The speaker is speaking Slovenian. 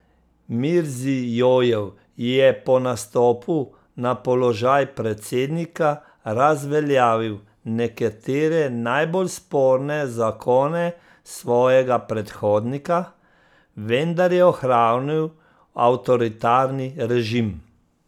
Mirzijojev je po nastopu na položaj predsednika razveljavil nekatere najbolj sporne zakone svojega predhodnika, vendar je ohranil avtoritarni režim.